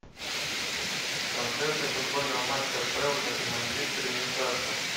трансляция футбольного матча апл между манчестер и ньюкасл